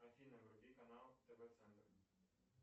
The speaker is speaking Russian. афина вруби канал тв центр